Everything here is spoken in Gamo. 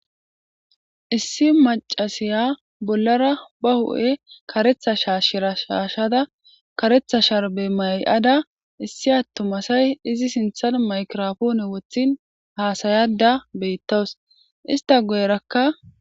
Issi maccashiya bollara bahu7e karetha shaashen qachada karetha sharbe may7ada issi attuma na7ay izi sinthan maygirapoone wothin haasayaadda beettawu.isttaguyerakka